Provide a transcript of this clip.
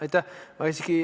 Aitäh!